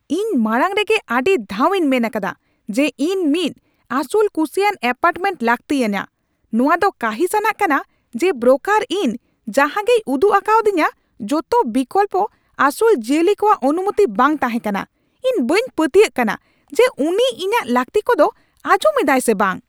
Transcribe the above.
ᱤᱧ ᱢᱟᱲᱟᱝ ᱨᱮᱜᱮ ᱟᱹᱰᱤ ᱫᱷᱟᱣ ᱤᱧ ᱢᱮᱱ ᱟᱠᱟᱫᱟ ᱡᱮ ᱤᱧ ᱢᱤᱫ ᱟᱹᱥᱩᱞᱼᱠᱩᱥᱤᱭᱟᱱ ᱟᱯᱟᱨᱴᱢᱮᱱᱴ ᱞᱟᱹᱠᱛᱤ ᱟᱹᱧᱟᱹ ᱾ ᱱᱚᱶᱟ ᱫᱚ ᱠᱟᱺᱦᱤᱥᱼᱟᱱᱟᱜ ᱠᱟᱱᱟ ᱡᱮ ᱵᱨᱳᱠᱟᱨ ᱤᱧ ᱡᱟᱦᱟᱸᱜᱮᱭ ᱩᱫᱩᱜ ᱟᱠᱟᱣᱫᱤᱧᱟᱹ ᱡᱚᱛᱚ ᱵᱤᱠᱚᱞᱯᱚ ᱟᱹᱥᱩᱞ ᱡᱤᱭᱟᱹᱞᱤ ᱠᱚᱣᱟᱜ ᱚᱱᱩᱢᱚᱛᱤ ᱵᱟᱝ ᱛᱟᱦᱮᱸᱠᱟᱱᱟ ᱾ ᱤᱧ ᱵᱟᱹᱧ ᱯᱟᱹᱛᱭᱟᱹᱜ ᱠᱟᱱᱟ ᱡᱮ ᱩᱱᱤ ᱤᱧᱟᱹᱠ ᱞᱟᱹᱠᱛᱤ ᱠᱚᱫᱚ ᱟᱸᱡᱚᱢ ᱮᱫᱟᱭ ᱥᱮ ᱵᱟᱝ ᱾